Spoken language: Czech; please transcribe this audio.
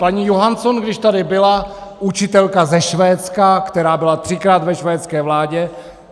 Paní Johansson, když tady byla, učitelka ze Švédska, která byla třikrát ve švédské vládě.